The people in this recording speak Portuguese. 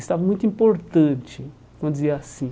Estava muito importante, vamos dizer assim.